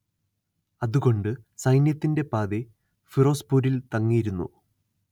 അതുകൊണ്ട് സൈന്യത്തിന്റെ പാതി ഫിറോസ്പൂരിൽ തങ്ങിയിരുന്നു